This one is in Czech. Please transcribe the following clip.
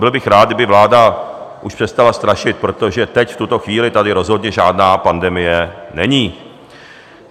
Byl bych rád, kdyby vláda už přestala strašit, protože teď, v tuto chvíli, tady rozhodně žádná pandemie není.